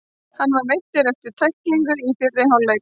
Hann var meiddur eftir tæklinguna í fyrri hálfleiknum.